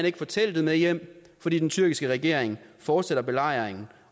ikke få teltet med hjem fordi den tyrkiske regering fortsætter belejringen